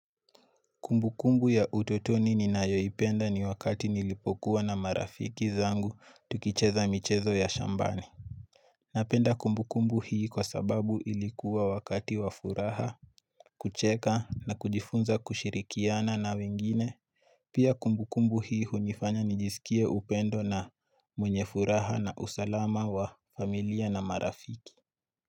Kumbukumbu ya utotoni ninayoipenda ni wakati nilipokuwa na marafiki zangu tukicheza michezo ya shambani Napenda kumbukumbu hii kwa sababu ilikuwa wakati wa furaha kucheka na kujifunza kushirihikiana na wengine Pia kumbukumbu hii hunifanya nijisikie upendo na mwenye furaha na usalama wa familia na marafiki.